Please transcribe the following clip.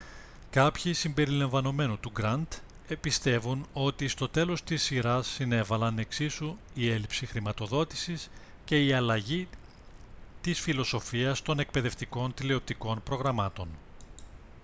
κάποιοι συμπεριλαμβανομένου του grant πιστεύουν ότι στο τέλος της σειράς συνέβαλαν εξίσου η έλλειψη χρηματοδότησης και η αλλαγή της φιλοσοφίας των εκπαιδευτικών τηλεοπτικών προγραμμάτων